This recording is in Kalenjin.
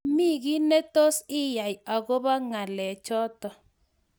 Mami giiy netos iyae agoba ngalechoto